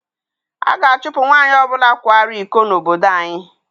A ga-achụpụ nwanyị ọ bụla kwara iko n'obodo anyị.